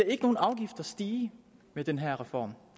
ikke nogen afgifter stige med den her reform